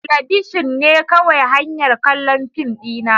Talabishin ne kawai hanyar kallon fim dina.